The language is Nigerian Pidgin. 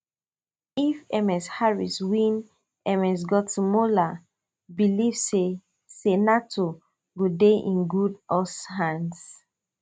if ms harris win ms gottemoeller believe say say nato go dey in good us hands